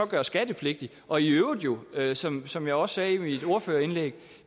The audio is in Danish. gøre skattepligtigt og i øvrigt øvrigt som som jeg også sagde i mit ordførerindlæg